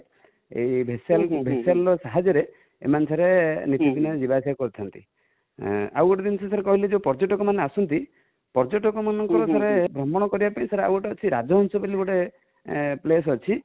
vessel ର ସାହାଯ୍ୟରେ ଏମାନେ sir ନୀତିଦିନ ଯିବାଆସିବା କରିଥାନ୍ତି |ଆଉ ଗୋଟେ ଜିନଷ sir ଯେ କହିଲି ପର୍ଯ୍ୟଟକ ମାନେ ଆସନ୍ତି, ପର୍ଯ୍ୟଟକ ମାନଙ୍କର sir ଭ୍ରମଣ କରିବା ପାଇଁ sir ଆଉ ଗୋଟେ ଅଛି ରାଜହଂସ ବୋଲ ଗୋଟେ place ଅଛି